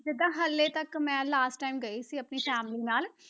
ਜਿੱਦਾਂ ਹਾਲੇ ਤੱਕ ਮੈਂ last time ਗਈ ਸੀ ਆਪਣੀ family ਨਾਲ।